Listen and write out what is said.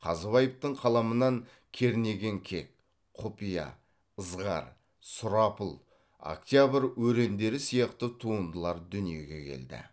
қазыбаевтың қаламынан кернеген кек құпия ызғар сұрапыл октябрь өрендері сияқты туындылар дүниеге келді